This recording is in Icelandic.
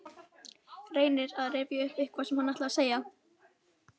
Reynir að rifja upp hvað hann ætlaði að segja.